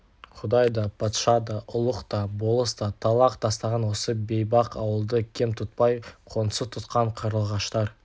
құдай да патша да ұлық та болыс та талақ тастаған осы бейбақ ауылды кем тұтпай қоңсы тұтқан қарлығаштар